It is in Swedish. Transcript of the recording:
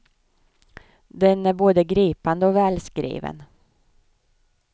Den är både gripande och välskriven.